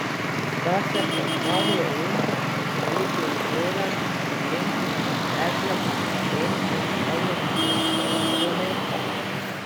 Sta se pa Zmago Jelinčič Plemeniti in Goran Klemenčič zapletla v incident pred stavbo Evropskega parlamenta.